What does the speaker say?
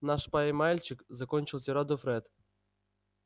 наш пай-мальчик закончил тираду фред